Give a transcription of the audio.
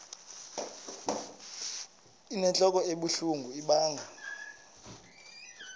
inentlok ebuhlungu ibanga